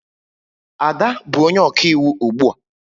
Ada bụ onye ọkaiwu ugbu a